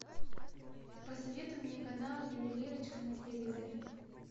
посоветуй мне канал ювелирочка на телевизоре